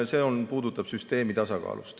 See puudutas süsteemi tasakaalu.